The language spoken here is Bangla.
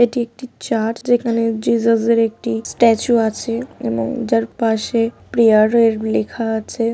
এটি একটি চার্জ যেখানে জেসস -এর একটি স্ট্যাচু আছে এবং যার পাশে প্রিয়ারে লেখা আছে ।